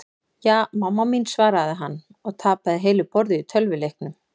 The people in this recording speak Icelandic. Ja, mamma mín svaraði hann og tapaði heilu borði í tölvuleiknum.